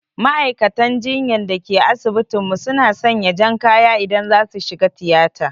Ma'aikatan jinyan da ke asibitin mu su na sanya jan kaya idan za su shiga tiyata